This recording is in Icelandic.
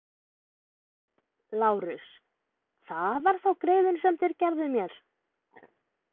LÁRUS: Það var þá greiðinn sem þér gerðuð mér!